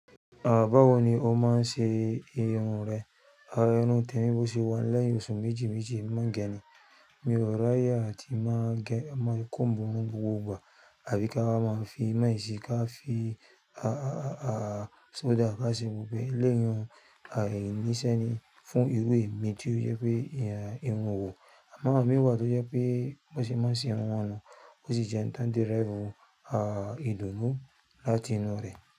Báwọ̀ ni ó máa ń ṣe irun rẹ̀. Àwọn irun tẹ́mi bọ̀ ṣe wà n lẹ́yì oṣù méjì méjì emi má ń gẹni. Mi ò ráye àti máa gẹ máa kómbu irun n gbogbo ìgbà. Àbí ká wa máa fi máìsì ká fi, a, a, a, a, sódà ká ṣe wò pé elẹ́yi ń èèyàn o níṣẹ́ ni fún irú èmi tí ó jẹ́ pé ń òwo. Àwọn mì wà tó jẹ́ pé bó ṣe má ṣe àwọn nu, ó sì jẹ n tán derive u, a, ìdùnnú láti inú rẹ̀